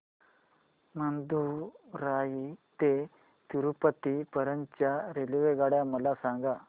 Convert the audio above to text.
मदुरई ते तिरूपती पर्यंत च्या रेल्वेगाड्या मला सांगा